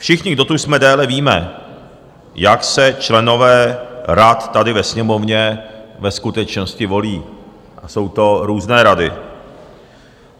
Všichni, kdo tu jsme déle, víme, jak se členové rad tady ve Sněmovně ve skutečnosti volí, a jsou to různé rady.